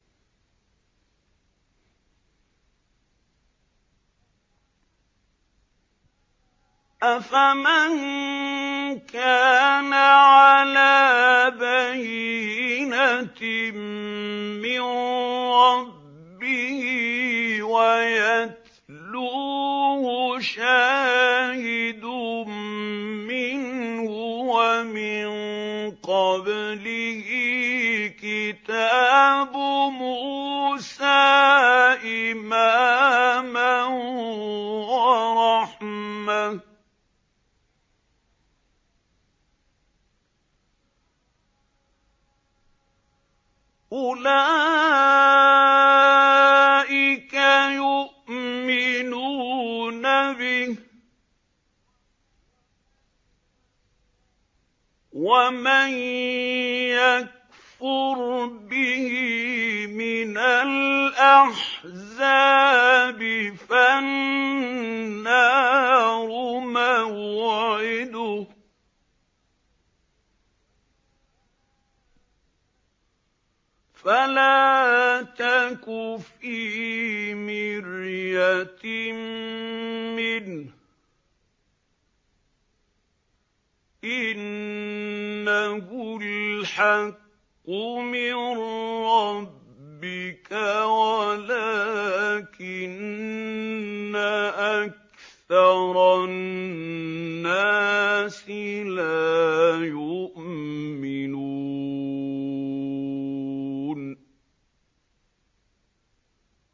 أَفَمَن كَانَ عَلَىٰ بَيِّنَةٍ مِّن رَّبِّهِ وَيَتْلُوهُ شَاهِدٌ مِّنْهُ وَمِن قَبْلِهِ كِتَابُ مُوسَىٰ إِمَامًا وَرَحْمَةً ۚ أُولَٰئِكَ يُؤْمِنُونَ بِهِ ۚ وَمَن يَكْفُرْ بِهِ مِنَ الْأَحْزَابِ فَالنَّارُ مَوْعِدُهُ ۚ فَلَا تَكُ فِي مِرْيَةٍ مِّنْهُ ۚ إِنَّهُ الْحَقُّ مِن رَّبِّكَ وَلَٰكِنَّ أَكْثَرَ النَّاسِ لَا يُؤْمِنُونَ